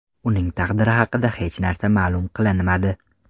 Uning taqdiri haqida hech narsa ma’lum qilinmadi.